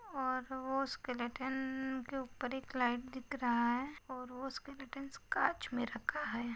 और वो स्केलेटन के ऊपर एक लाइट दिख रहा है और वो स्केलेटन काच में रखा है।